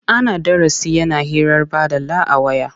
Ana darasi yana hirar baɗala a waya.